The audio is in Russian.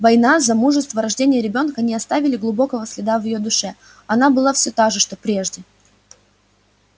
война замужество рождение ребёнка не оставили глубокого следа в её душе она была все та же что прежде